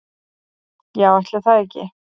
"""Já, ætli það ekki."""